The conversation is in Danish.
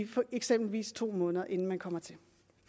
eksempelvis to måneder inden man kommer til